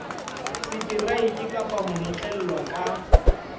seteraeke kapa ho notlellwa ka